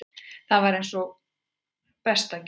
Þetta var eins og besta gjöf.